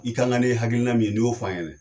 I ka kan ni hakilina min ni y'o f'an ɲɛnɛ.